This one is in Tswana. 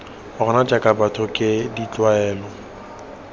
rona jaaka batho ke ditlwaelo